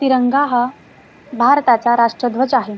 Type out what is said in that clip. तिरंगा हा भारताचा राष्ट्रध्वज आहे.